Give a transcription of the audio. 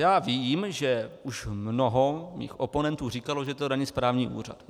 Já vím, že už mnoho mých oponentů říkalo, že to není správní úřad.